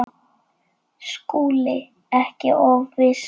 SKÚLI: Ekki of viss!